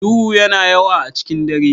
Duhu yana yawa a cikin dare.